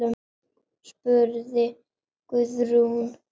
spurði Guðrún.